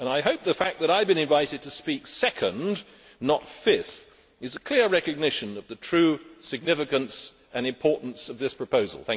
I hope the fact that I have been invited to speak second, not fifth, is clear recognition of the true significance and importance of this proposal.